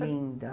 Linda.